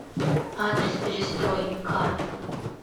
адрес перестрой ка